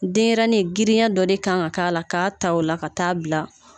Denɲɛrɛnnin , girinya dɔ de kan ka k'a la k'a ta o la ka taa bila